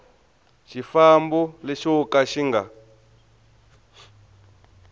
xifambo lexo ka xi nga